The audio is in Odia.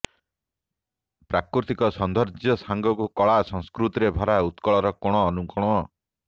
ପ୍ରାକୃତିକ ସୌନ୍ଦର୍ଯ୍ୟ ସାଙ୍ଗକୁ କଳା ସଂସ୍କୃତିରେ ଭରା ଉତ୍କଳର କୋଣ ଅନୁକୋଣ